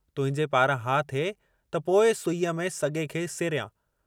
तुहिंजे पारां हा थिए त पोइ सुईअ में सॻे खे सेरियां।